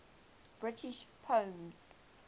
british poems